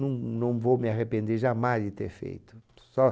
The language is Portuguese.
Não, não vou me arrepender jamais de ter feito.